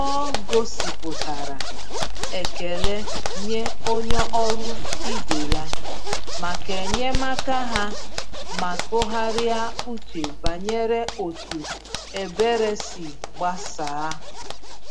Ọ gosipụtara ekele nye onye ọrụ ibe ya maka enyemaka ha ma tụgharịa uche banyere otu ebere si gbasaa.